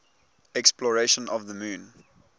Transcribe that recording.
exploration of the moon